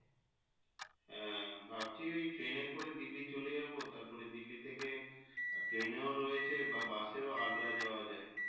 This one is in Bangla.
হ্যাঁ ভাবছি ওই train এ করে দিল্লি চলে যাবো তার পরে দিল্লি থেকে train এও রয়েছে বা Bus এও আগ্রা যাওয়া যাই।